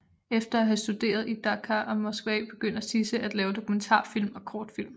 Efter at havde studeret i Dakar og Moskva begyndte Cissé at lave dokumentarfilm og kortfilm